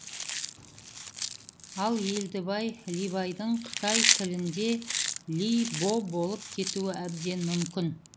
ал елдібай либайдың қытай тілінде ли бо болып кетуі әбден мүмкін